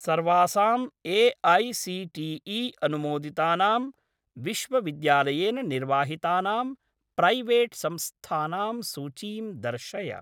सर्वासां ए.ऐ.सी.टी.ई. अनुमोदितानां विश्वविद्यालयेन निर्वाहितानां प्रैवेट् संस्थानां सूचीं दर्शय।